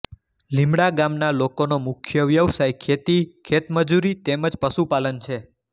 લિમડા ગામના લોકોનો મુખ્ય વ્યવસાય ખેતી ખેતમજૂરી તેમ જ પશુપાલન છે